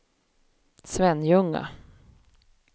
Svenljunga